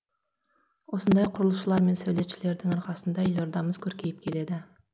осындай құрылысшылар мен сәулетшілердің арқасында елордамыз көркейіп келеді